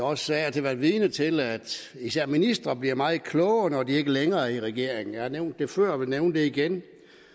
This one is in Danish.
også af og til været vidne til at især ministre bliver meget klogere når de ikke længere er i regering jeg har nævnt det før og vil nævne det igen